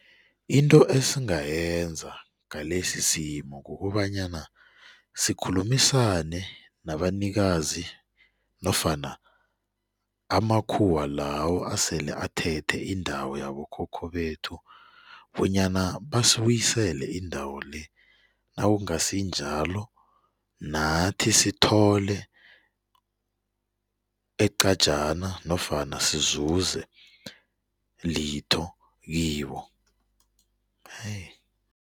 Into esingayenza ngalesisimo kukobanyana sikhulumisane nabanikazi nofana amakhuwa lawo asele athethe indawo yabokhokho bethu bonyana basibuyisele indawo-le nakungasinjalo nathi sithole eqajana nofana sizuze litho kibo